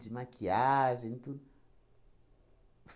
De maquiagem e tudo.